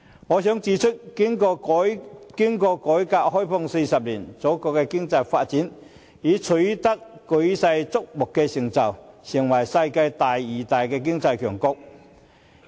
我想指出，經過改革開放40年，祖國的經濟發展已取得舉世矚目的成就，成為世界第二大經濟強國。